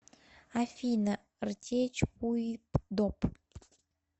афина ртечпуипдоп